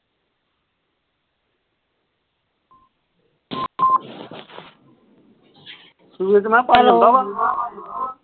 hello